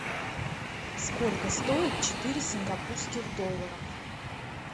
сколько стоит четыре сингапурских долларов